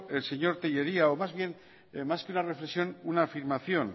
el señor tellería o más que una reflexión una afirmación